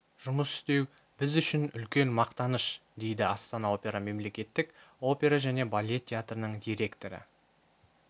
жұмыс істеу біз үшін үлкен мақтаныш дейді астана опера мемлекеттік опера және балет театрының директоры